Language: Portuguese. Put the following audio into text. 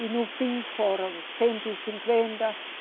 E no fim foram cento e cinquenta